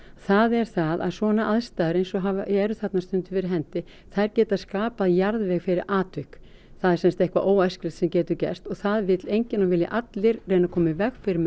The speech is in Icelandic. það er það að svona aðstæður eins og eru þarna stundum fyrir hendi þær geta skapað jarðveg fyrir atvik það er sem sagt eitthvað óæskilegt sem getur gerst og það vill enginn og vilja allir reyna að koma í veg fyrir með